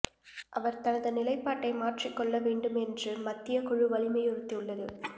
அவர் தனது நிலைப்பாட்டை மாற்றிக் கொள்ள வேண்டுமென்றும் மத்தியக் குழு வலியுறுத்தியுள்ளது